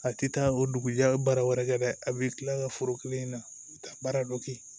A tɛ taa o dugujɛ a bɛ baara wɛrɛ kɛ dɛ a bɛ tila ka foro kelen na a bɛ taa baara dɔ kɛ